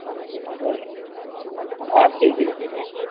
আমি সেই কদিন আবার যখুন ঘুমাতে যেটা